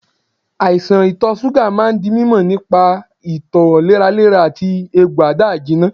Àìsàn ito suga máa ń di mímọ nípa ito léraléra àti egbò ada-ijina.